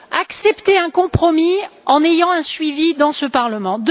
Acceptez un compromis en ayant un suivi dans ce Parlement.